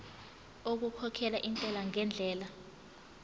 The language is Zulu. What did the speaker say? okukhokhela intela ngendlela